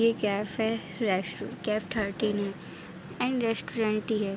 ये कैफ़े रैशु cafe thirteen and restaurant ही है।